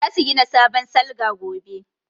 Za su gina sabon salga gobe